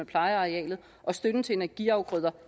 plejer arealet og støtten til energiafgrøder